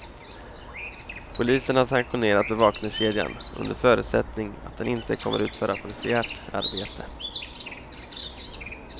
Polisen har sanktionerat bevakningskedjan under förutsättning att den inte kommer att utföra polisiärt arbete.